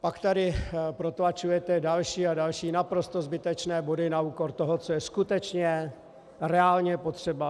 Pak tu protlačujete další a další naprosto zbytečné body na úkor toho, co je skutečně reálně potřeba.